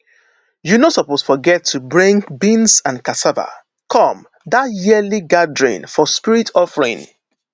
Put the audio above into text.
you no suppose forget to bring beans and cassava come that yearly gathering for spirit offering